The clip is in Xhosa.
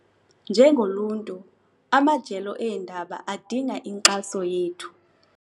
Njengoluntu amajelo eendaba adinga inkxaso yethu.